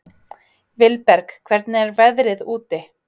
Vilberg, hvernig er veðrið úti?